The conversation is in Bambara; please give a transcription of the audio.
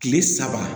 Kile saba